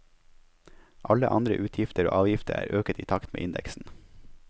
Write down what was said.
Alle andre utgifter og avgifter er øket i takt med indeksen.